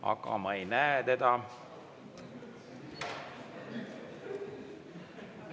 Aga ma ei näe teda.